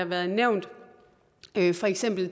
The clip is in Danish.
været nævnt for eksempel